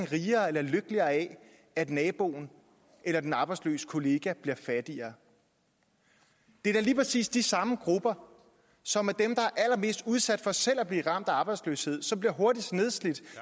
rigere eller lykkeligere af at naboen eller den arbejdsløse kollega bliver fattigere det er da lige præcis de samme grupper som er dem der allermest udsat for selv at blive ramt af arbejdsløshed som bliver hurtigst nedslidt